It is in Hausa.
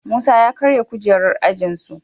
Musa ya karya kujerar ajin su